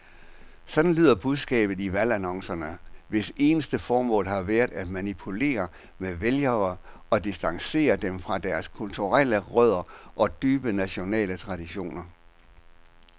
Sådan lyder budskabet i valgannoncerne, hvis eneste formål har været at manipulere med vælgere og distancere dem fra deres kulturelle rødder og dybe nationale traditioner.